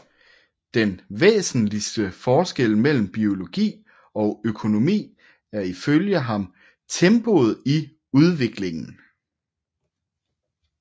Den væsentligste forskel mellem biologi og økonomi er ifølge ham tempoet i udviklingen